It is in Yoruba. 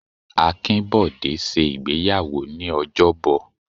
Akinbode ṣe ìgbéyàwó ní ojobo.